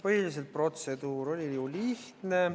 Põhiliselt oli protseduur ju lihtne.